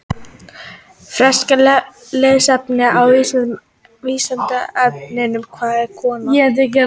Frekara lesefni á Vísindavefnum: Hvað er kona?